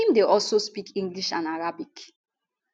im dey also speak english and arabic